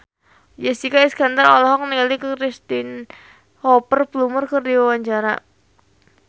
Jessica Iskandar olohok ningali Cristhoper Plumer keur diwawancara